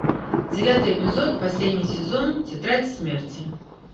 девятый эпизод последний сезон тетрадь смерти